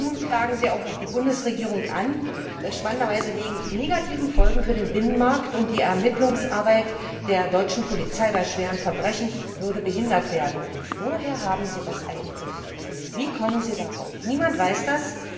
Und nun klagen Sie auch noch die Bundesregierung an, spannenderweise wegen negativer Folgen für den Binnenmarkt und weil die Ermittlungsarbeit der deutschen Polizei bei schweren Verbrechen behindert würde. Woher haben Sie das eigentlich? Wie kommen Sie darauf? Niemand weiß